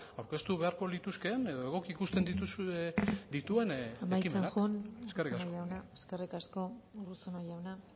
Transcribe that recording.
aurkeztu beharko lituzkeen edo egoki ikusten dituen ekimenak amaitzen joan eskerrik asko eskerrik asko urruzuno jauna